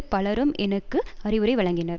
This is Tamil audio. பலரும் எனக்கு அறிவுரை வழங்கினர்